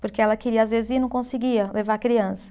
Porque ela queria, às vezes, ir e não conseguia levar a criança.